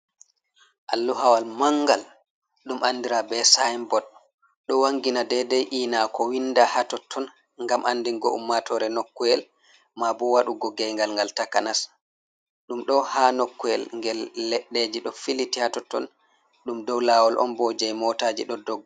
Alluhawal mangal ɗum andira be saibot ɗo wangina dedei ena ko winda hatotton gam andingo ummatore nokuwel ma bo wadugo geygal gal takanas ɗum ɗo haa nokuwel gel leddeji do filiti hatotton dum dow lawol ombo je motaji do dogga.